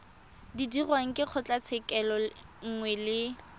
dirwang ke kgotlatshekelo nngwe le